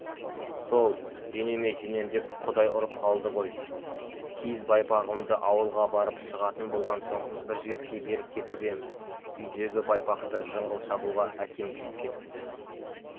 сол денеме сенем деп құдай ұрып қалды ғой киіз байпағымды ауылға барып шығатын болған соң бір жігітке беріп кетіп ем үйдегі байпақты жыңғыл шабуға әкем киіп кетіпті